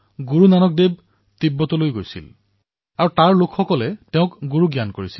গুৰুনানক দেৱজীয়ে তিব্বতলৈও গৈছিল তাৰে লোকসকলে তেওঁক গুৰু বুলি জ্ঞান কৰে